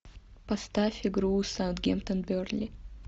поставь игру саутгемптон бернли